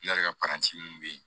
ka paranti min bɛ yen